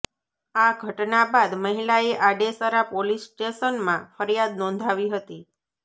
આ ઘટના બાદ મહિલાએ આડેસરા પોલીસ સ્ટેશનમાં ફરિયાદ નોંધાવી હતી